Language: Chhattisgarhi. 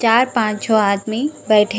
चार पांच ठो आदमी बइठे--